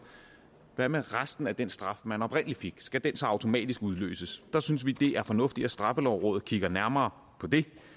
hvad med resten af den straf man oprindelig fik skal den så automatisk udløses der synes vi det er fornuftigt at straffelovrådet kigger nærmere på